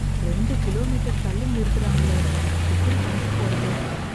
ரெண்டு கிலோமீட்டர் தள்ளி நிறுத்தறாங்களே. எப்படி கடைக்குப் போறது?